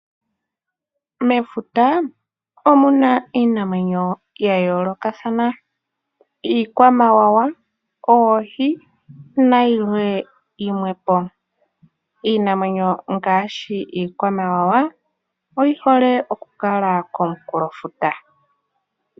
Mefuta omuna iinamwenyo ya yoolokathana ngaashi iikwamawawa, oohi nayilwe yimwe po. Iinamwenyo ngaashi iikwamawawa oyi hole okukala konkunkulofuta.